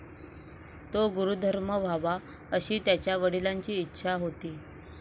तो धर्मगुरू व्हावा अशी त्याच्या वडिलांची इच्छा होती.